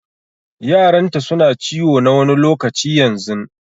Yaranta su na ciwo na wani lokaci yanzun.